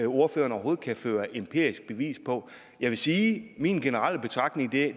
ordføreren overhovedet kan føre empirisk bevis på jeg vil sige at min generelle betragtning